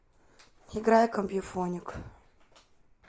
играй компьюфоник